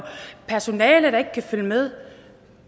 personale der ikke kan følge med